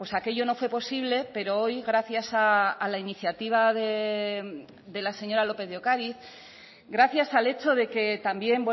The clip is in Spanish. aquello no fue posible pero hoy gracias a la iniciativa de la señora lópez de ocariz gracias al hecho de que también